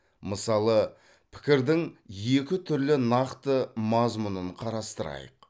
мысалы пікірдің екі түрлі нақты мазмұнын қарастырайық